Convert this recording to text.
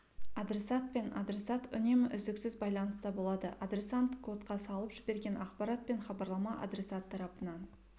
адресат пен адресат үнемі үздіксіз байланыста болады адресант кодқа салып жіберген ақпарат пен хабарлама адресат тарапынан